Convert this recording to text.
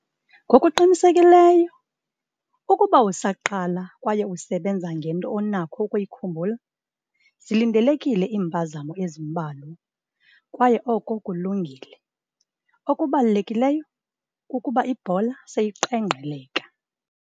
Ngokuqinisekileyo ukuba usaqala kwaye usebenza ngento onakho ukuyikhumbula, zilindelekile iimpazamo ezimbalwa kwaye oko kulungile, okubalulekileyo kukuba ibhola seyiqengqeleka.